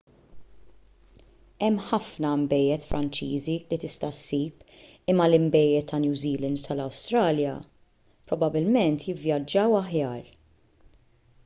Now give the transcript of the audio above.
hemm ħafna nbejjed franċiżi li tista' ssib imma l-inbejjed ta' new zealand u tal-awstralja probabbilment jivvjaġġaw aħjar